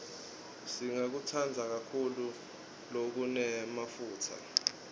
singakutsandzi kakhulu lokunemafutsa